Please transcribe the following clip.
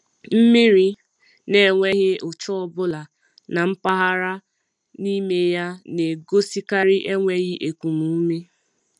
Mmiri n’enweghị ụcha ọbụla na mmgharị n’ime ya na-egosikarị enweghi ekum ume.